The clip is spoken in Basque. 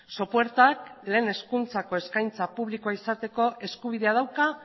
sopuertak lehen hezkuntzako eskaintza publikoa izateko eskubidea dauka